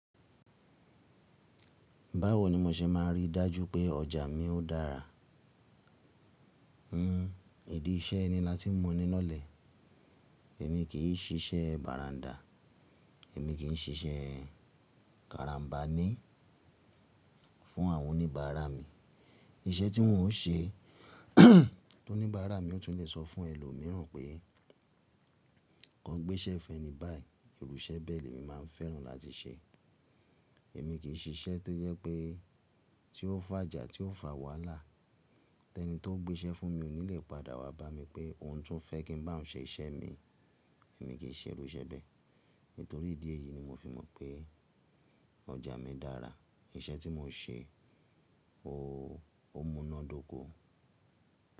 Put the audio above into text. Báwo ni mo ṣe máa rí dájú pé ọjà mi ó dára? N n ìdí iṣẹ́ ni láti mọ ní lọ́lẹ̀. Èmi kì í ṣiṣẹ́ bàràndà, èmi kì í ṣiṣẹ́ kàràmbánì fún àwọn oníbàárà mi. Iṣẹ́ tí wọ́n ó ṣe,, tóníbàárà mi ò tún lè sọ fún ẹlòmíràn pé, kàn gbéṣẹ́ fẹ́ni báyìí. Ìrú ṣẹ́ bẹ́ẹ̀ ni èmi máa ń fẹ́ràn láti ṣe. Èmi kì í ṣiṣẹ́ tó yẹ pé tí ó fàjà, tí ó fà wàhálà. Tẹ́ní tó ń gbéṣẹ́ fún mi ò ní lè padà wá bá mi pé ohun tó fẹ́ kí n bá òun ṣe iṣẹ́ mi. Èmi kì í ṣe irú iṣẹ́ bẹ́ẹ̀. Nítorí ìdí èyí ni mo fi mọ̀ pé ọjà mi dára. Iṣẹ́ tí mo ń ṣe o múnádóko.